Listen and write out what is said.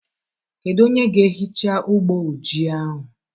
Kedu onye ga-ehicha ụgbọ ojii ahụ?